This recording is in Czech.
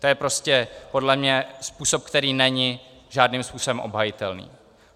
To je prostě podle mě způsob, který není žádným způsobem obhajitelný.